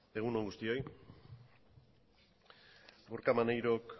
egun on guztioi gorka maneirok